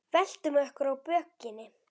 Veltum okkur á bökin.